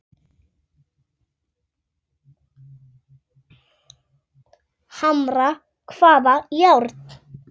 Hamra hvaða járn?